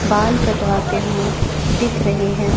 बाल कटवाते हुए दिख रहे हैं।